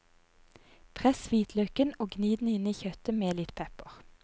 Press hvitløken og gni den inn i kjøttet med litt pepper.